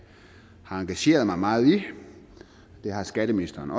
har engageret mig meget i det har skatteministeren